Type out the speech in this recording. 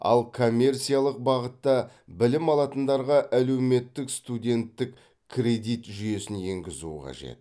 ал коммерциялық бағытта білім алатындарға әлеуметтік студенттік кредит жүйесін енгізу қажет